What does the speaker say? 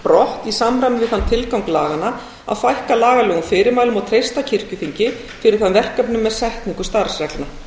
brott í samræmi við þann tilgang laganna að fækka lagalegum fyrirmælum og treysta kirkjuþingi fyrir þeim verkefnum með setningu starfsreglna